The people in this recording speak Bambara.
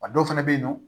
A dɔw fana bɛ yen nɔ